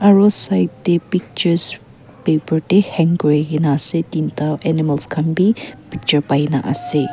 aru side tae pictures paper tae hang kurina ase tinta animals khan vi picture paina ase.